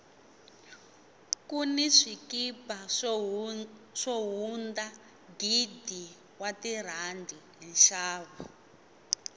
kuni swikipa swo hunda gidi wa tirhandi hi nxavo